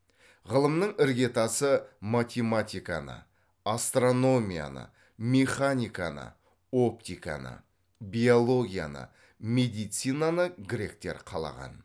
ғылымның іргетасы математиканы астрономияны механиканы оптиканы биологияны медицинаны гректер қалаған